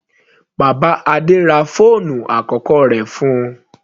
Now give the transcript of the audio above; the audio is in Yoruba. Bàbá Adé ra fóònù àkọ́kọ́ rẹ̀ fún-un.